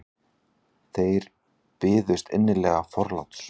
Þeir byðust innilega forláts.